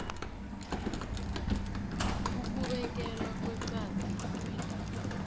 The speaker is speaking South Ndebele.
ukubekelwa ngeqadi kwendawo